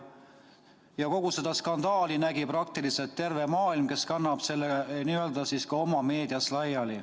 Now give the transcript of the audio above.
Ja kogu seda skandaali nägi praktiliselt terve maailm, kes kannab selle ka oma meedias laiali.